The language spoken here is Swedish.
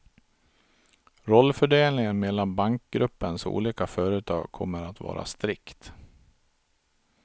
Rollfördelningen mellan bankgruppens olika företag kommer att vara strikt.